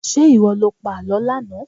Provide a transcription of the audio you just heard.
Ṣé ìwọ lo pa àlọ́ lánàá?